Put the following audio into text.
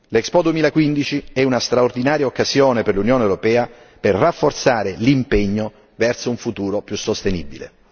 L'Expo 2015 è una straordinaria occasione per l'Unione europea per rafforzare l'impegno verso un futuro più sostenibile.